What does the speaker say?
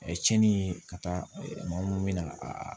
cɛni ye ka taa maa munnu bɛ na aa